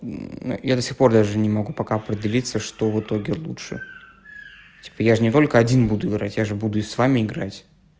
я до сих пор даже не мог пока определиться что в итоге лучше типа я же не только один буду играть я же буду с вами играть